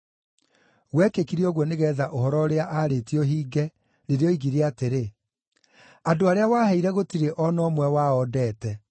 Gwekĩkire ũguo nĩgeetha ũhoro ũrĩa aarĩtie ũhinge, rĩrĩa oigire atĩrĩ, “Andũ arĩa waheire gũtirĩ o na ũmwe wao ndeete.”